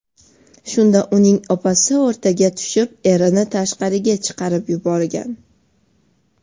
Shunda uning opasi o‘rtaga tushib, erini tashqariga chiqarib yuborgan.